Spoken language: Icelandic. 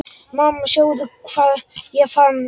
Mamma sjáðu hvað ég fann!